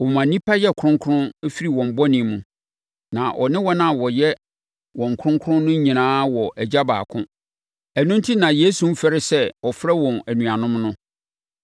Ɔma nnipa yɛ kronkron firi wɔn bɔne mu. Na ɔne wɔn a wayɛ wɔn kronkron no nyinaa wɔ Agya baako. Ɛno enti na Yesu mfɛre sɛ ɔfrɛ wɔn anuanom no.